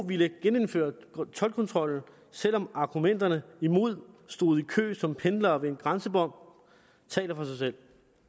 ville genindføre toldkontrollen selv om argumenterne imod stod i kø som pendlere ved en grænsebom taler for sig selv